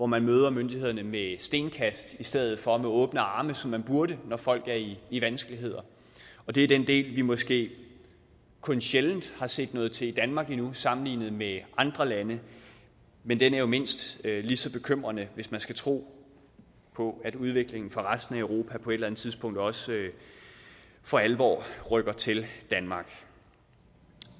man møder myndighederne med stenkast i stedet for med åbne arme som man burde når folk er i i vanskeligheder det er den del vi endnu måske kun sjældent har set noget til i danmark sammenlignet med andre lande men den er jo mindst lige så bekymrende hvis man skal tro på at udviklingen for resten af europa på et eller andet tidspunkt også for alvor rykker til danmark